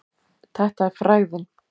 Þetta er frægðin.